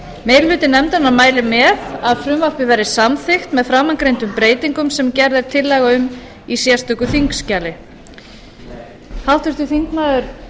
meiri hluti nefndarinnar mælir með að frumvarpið verði samþykkt með framangreindum breytingum sem gerð er tillaga um í sérstöku þingskjali háttvirtur þingmaður